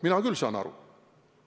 Mina küll saan aru!